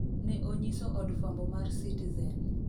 ne onyiso od fwambo mar citizen